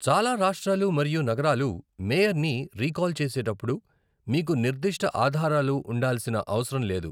చాలా రాష్ట్రాలు మరియు నగరాలు మేయర్ని రీకాల్ చేసేటప్పుడు, మీకు నిర్ధిష్ట ఆధారాలు ఉండాల్సిన అవసరం లేదు.